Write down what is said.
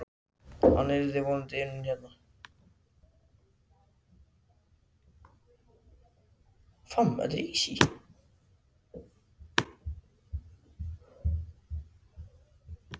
Hann yrði vonandi unnin hérna.